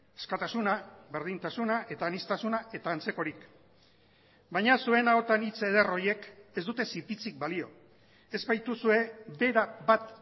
askatasuna berdintasuna eta aniztasuna eta antzekorik baina zuen ahotan hitz eder horiek ez dute zipitzik balio ez baituzue bera bat